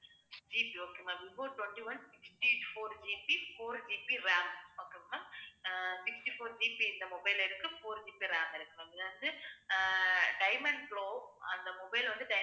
GBokay ma'am Vivo twenty-one sixty fourGBfourGBramokay ma'am ஆஹ் sixty-fourGB இந்த mobile ல இருக்கு, 4GB RAM இருக்கு ma'am இது வந்து ஆஹ் diamond glow அந்த mobile வந்து, di~